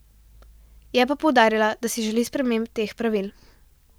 Je pa poudarila, da si želi sprememb teh pravil.